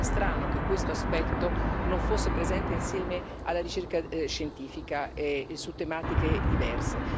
Sarebbe ben strano che questo aspetto non fosse presente, insieme alla ricerca scientifica e su tematiche diverse.